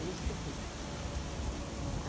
Ele escutou.